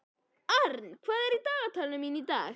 Aran, hvað er á dagatalinu mínu í dag?